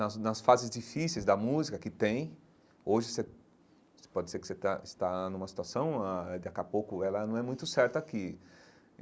Nas nas fases difíceis da música que tem, hoje você você pode dizer que você está está numa situação, aí daqui a pouco ela não é muito certa aqui.